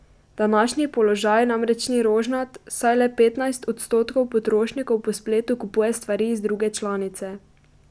Današnji položaj namreč ni rožnat, saj le petnajst odstotkov potrošnikov po spletu kupuje stvari iz druge članice.